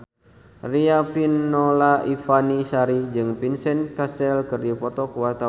Riafinola Ifani Sari jeung Vincent Cassel keur dipoto ku wartawan